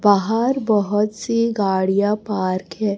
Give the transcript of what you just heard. बाहर बहोत सी गाड़ियां पार्क है।